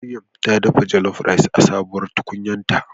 Maryam ta dafa jollof rice a sabuwar tukunyarta.